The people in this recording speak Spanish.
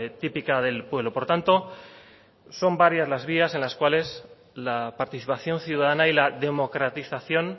típica del pueblo por tanto son varias las vías en las cuales la participación ciudadana y la democratización